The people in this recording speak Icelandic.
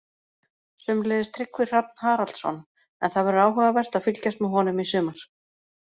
Sömuleiðis Tryggvi Hrafn Haraldsson, en það verður áhugavert að fylgjast með honum í sumar.